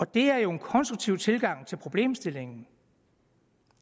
det er jo en konstruktiv tilgang til problemstillingen